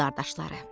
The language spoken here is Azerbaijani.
Qrim qardaşları.